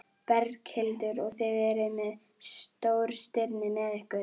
Berghildur: Og þið eruð með stórstirni með ykkur?